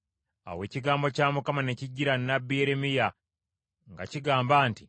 Awo ekigambo kya Mukama ne kijjira nnabbi Yeremiya nga kigamba nti,